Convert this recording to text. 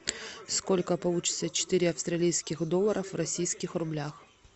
сколько получится четыре австралийских долларов в российских рублях